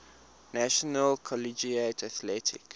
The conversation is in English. national collegiate athletic